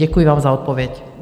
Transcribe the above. Děkuji vám za odpověď.